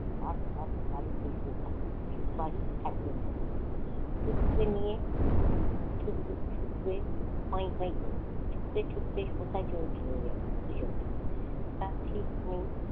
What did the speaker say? থাক থাক বাড়ি ফিরবে থাক বাড়ি থাকবে না কোনো টুকুকে নিয়ে ছুটতে ছুটতে কোথায় চলে যাবে দুইজন তার ঠিক নেই।